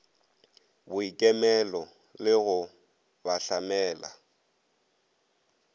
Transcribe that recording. boikemelo le go ba hlamela